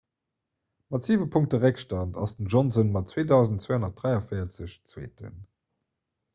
mat siwe punkte réckstand ass den johnson mat 2 243 zweeten